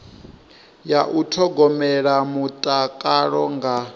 ya u thogomela mutakalo nga